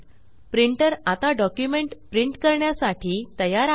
printer आता document print करण्यासाठी तयार आहे